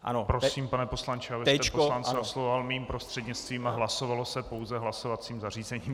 Prosím, pane poslanče, abyste poslance oslovoval mým prostřednictvím a hlasovalo se pouze hlasovacím zařízením.